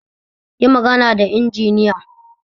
Yi magana da injiniya